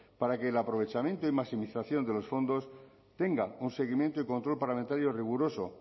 para que el aprovechamiento y maximización de los fondos tenga un seguimiento y control parlamentario riguroso